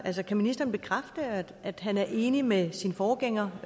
eller kan ministeren bekræfte at at han er enig med sin forgænger